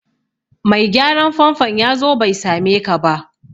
Mai gyaran famfon ya zo bai same ka ba